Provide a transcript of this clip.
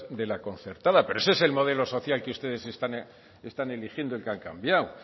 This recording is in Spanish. de la concertada pero ese es el modelo social que ustedes están eligiendo y que han cambiado